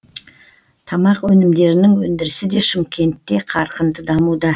тамақ өнімдерінің өндірісі де шымкентте қарқынды дамуда